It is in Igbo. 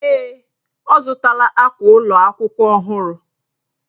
Èè,, ọ zụtala akwa ụlọ akwụkwọ ọhụrụ.